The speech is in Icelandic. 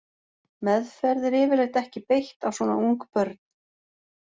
Meðferð er yfirleitt ekki beitt á svona ung börn.